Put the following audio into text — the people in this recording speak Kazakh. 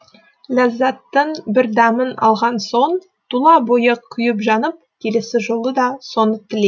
ләззаттың бір дәмін алған соң тұла бойы күйіп жанып келесі жолы да соны